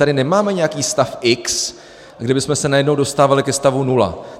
Tady nemáme nějaký stav x, kde bychom se najednou dostávali ke stavu nula.